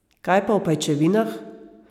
Kaj pa o pajčevinah?